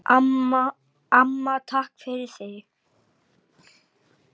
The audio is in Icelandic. Amma, takk fyrir þig.